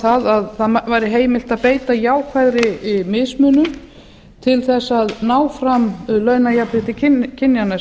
um að það væri heimilt að beita jákvæðri mismunun til þess að ná fram launajafnrétti kynjanna